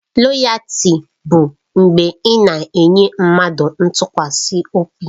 Loyaltị bụ mgbe ị na-enye mmadụ ntụkwasị obi.